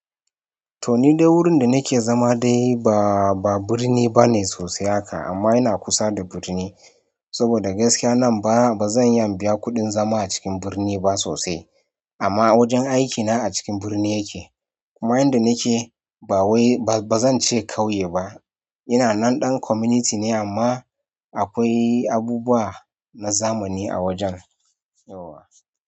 To ni dai wurinda nake za ma dai ba ba birni bane sosai haka ama yana kusa da birni saboda gaskiya nan ba bazan iya in biya kuɗin zama a cikin birni ba sosai, ama wajen aiki na a cikin birni yake kuma inda nake bawai ba bazan ce ƙauye ba. In na nan ɗan community ne ama a kwai abubuwa na zaman a wajan, yauwa.